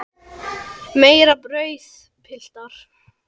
Meira brauð, piltar?